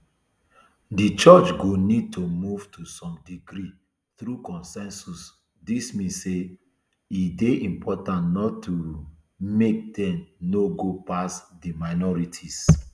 di church go need to move to some degree through consensus dis mean say e dey important not um make dem no go pass di minorities